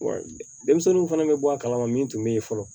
Wa denmisɛnninw fana bɛ bɔ a kalama min tun bɛ yen fɔlɔ